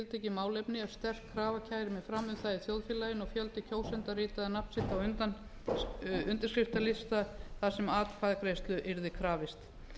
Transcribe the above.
tiltekið málefni ef sterk krafa kæmi fram um það í þjóðfélaginu og fjöldi kjósenda ritaði nafn sitt á undirskriftalista þar sem atkvæðagreiðslu yrði krafist